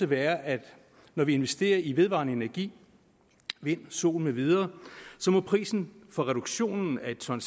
være at når vi investerer i vedvarende energi vind sol med videre må prisen for reduktionen af et ton